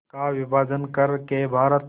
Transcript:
का विभाजन कर के भारत